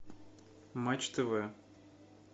матч тв